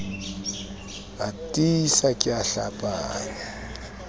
a tiisa ke a hlapanya